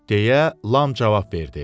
deyə Lam cavab verdi.